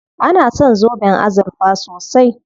An san zoben azurfa sosai.